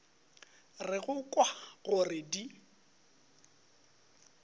re go kwa gore di